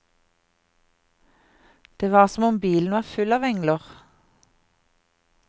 Det var som om bilen var full av engler.